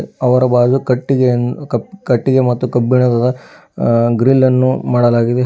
ಅವರ ಬಾಗಿಲು ಕಟ್ಟಿಗೆಯನ್ನು ಕಟ್ಟಿಗೆ ಮತ್ತು ಕಬ್ಬಿಣದದ ಅ ಗ್ರಿಲ್ ಅನ್ನು ಮಾಡಲಾಗಿದೆ.